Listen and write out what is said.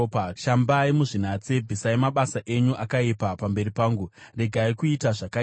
shambai muzvinatse. Bvisai mabasa enyu akaipa pamberi pangu! Regai kuita zvakaipa,